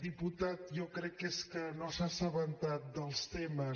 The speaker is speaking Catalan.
diputat jo crec que és que no s’ha assabentat dels temes